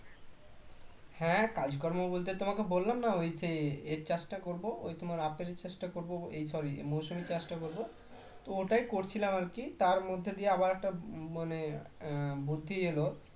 হ্যাঁ কাজকর্ম বলতে তোমাকে বললাম না ঐ যে এর চাষটা করব ওই তোমার আপেল চাষটা করব এই sorry মৌসুমী চাষটা করবো তো ওটাই করছিলাম আর কি তার মধ্যে আবার একটা মানে উম বুদ্ধি এলো